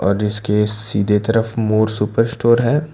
और इसके सीधे तरफ मोर सुपर स्टोर है।